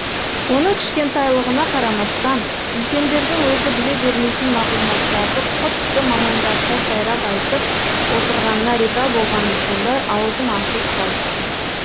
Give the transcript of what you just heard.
оның кішкентайлығына қарамастан үлкендердің өзі біле бермейтін мағлұматтарды құдды мамандарша сайрап айтып отырғанына риза болғаным сондай аузым ашылып қалыпты